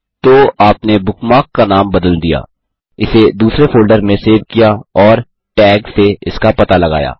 तो आपने बुकमार्क का नाम बदल दिया इसे दूसरे फ़ोल्डर में सेव किया और टैग से इसका पता लगाया